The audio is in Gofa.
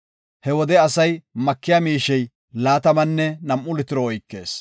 He wode asay makiya miishey laatamanne nam7u litiro oykees.